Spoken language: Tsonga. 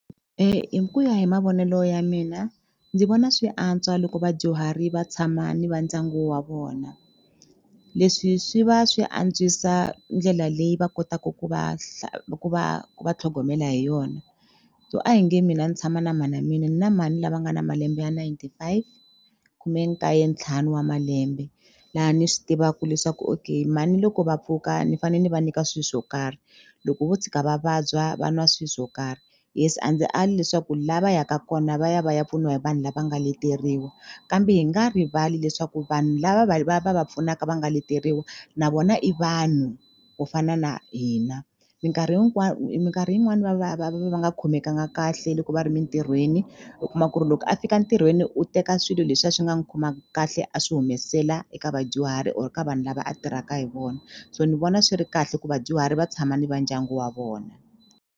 Hi ku ya hi mavonelo ya mina ndzi vona swi antswa loko vadyuhari va tshama ni va ndyangu wa vona leswi swi va swi antswisa ndlela leyi va kotaku ku va ku va ku va tlhogomela hi yona so a hi nge mina ni tshama na mhana mina ni na mhani lava nga na malembe ya ninety five khumekaye ntlhanu wa malembe laha ni swi tivaka leswaku okay mhani loko va pfuka ni fane ni va nyika swi swo karhi loko vo tshika va vabya va nwa swi swo karhi yes a ndzi ali leswaku la va yaka kona va ya va ya pfuniwa hi vanhu lava nga leteriwa kambe hi nga rivali leswaku vanhu lava va va va va pfunaka va nga leteriwa na vona i vanhu ku fana na hina minkarhi minkarhi yin'wani va va va va va nga khomekanga kahle loko va ri mintirhweni u kuma ku ri loko a fika ntirhweni u teka swilo leswiya swi nga n'wi khomangi kahle a swi humesela eka vadyuhari or ka vanhu lava a tirhaka hi vona so ni vona swi ri kahle ku vadyuhari va tshama ni va ndyangu wa vona.